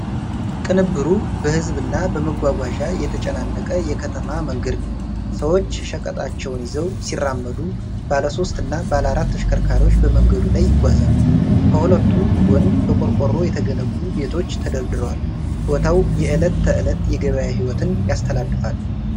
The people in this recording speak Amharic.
ቅንብሩ በሕዝብ እና በመጓጓዣ የተጨናነቀ የከተማ መንገድ ነው። ሰዎች ሸቀጣቸውን ይዘው ሲራመዱ፣ ባለሦስት እና ባለአራት ተሽከርካሪዎች በመንገዱ ላይ ይጓዛሉ። ከሁለቱም ጎን በቆርቆሮ የተገነቡ ቤቶች ተደርድረዋል። ቦታው የዕለት ተዕለት የገበያ ሕይወትን ያስተላልፋል።